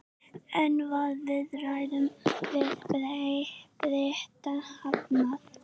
En var viðræðum við Breta hafnað?